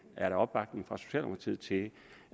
er der opbakning fra socialdemokratiet til de